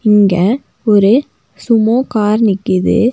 இங்க ஒரு Sumo car நிக்கிது.